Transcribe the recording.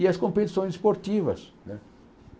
E as competições esportivas, né?